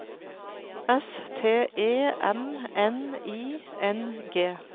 S T E M N I N G